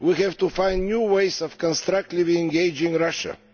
We have to find new ways of constructively engaging Russia.